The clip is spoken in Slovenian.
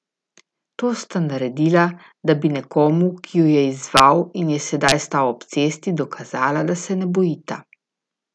To sta naredila, da bi nekomu, ki ju je izzval in je sedaj stal ob cesti, dokazala, da se ne bojita.